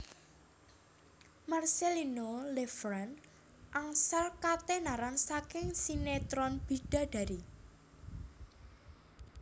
Marcellino Lefrandt angsal katenaran saking sinetron Bidadari